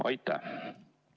Aitäh!